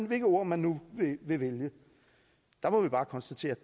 hvilket ord man nu vil vælge der må vi bare konstatere